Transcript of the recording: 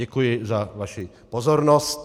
Děkuji za vaši pozornost.